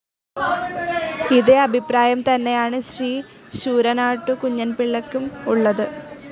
ഇതേ അഭിപ്രായം തന്നെയാണ് ശ്രീ ശൂരനാട്ടു കുഞ്ഞൻപിള്ളക്കും ഉള്ളത്.